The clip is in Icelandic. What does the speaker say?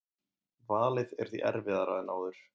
Valið er því erfiðara en áður